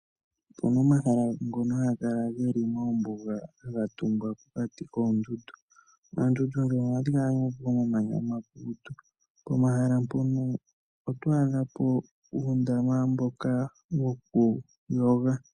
Opu na omahala ngono haga kala ge li moombuga haga tungwa pokati koondundu. Oondundu ndhono ohadhi kala pomamanya omakukutu. Pomahala mpono oto adha po uundama mboka wokuyoga.